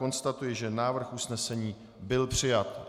Konstatuji, že návrh usnesení byl přijat.